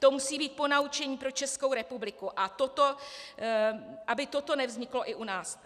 To musí být ponaučení pro Českou republiku, aby toto nevzniklo i u nás.